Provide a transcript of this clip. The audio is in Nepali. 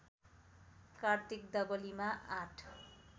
कार्तिक डबलीमा आठ